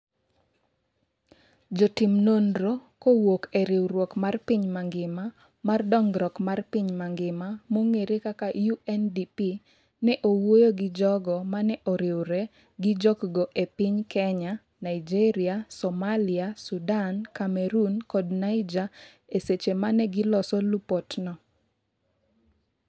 Jotim nonro kowuok e riwruok mar piny mangima mar dongruok mar piny mangima (UNDP) ne owuoyo gi jogo mane oriwre gi jok go e piny Kenya, Naijeria, Somalia, Sudan, Cameroon kod Niger e seche mane giloso lupot no.